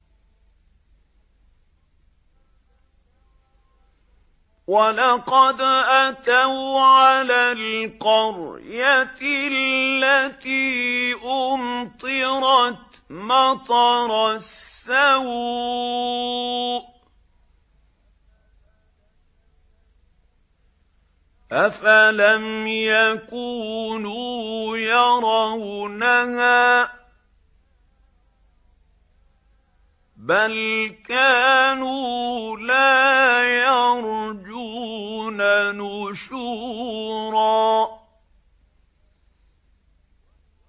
وَلَقَدْ أَتَوْا عَلَى الْقَرْيَةِ الَّتِي أُمْطِرَتْ مَطَرَ السَّوْءِ ۚ أَفَلَمْ يَكُونُوا يَرَوْنَهَا ۚ بَلْ كَانُوا لَا يَرْجُونَ نُشُورًا